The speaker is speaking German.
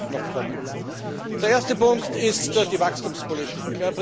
Ich werde darauf noch kommen. Der erste Punkt ist die Wachstumspolitik.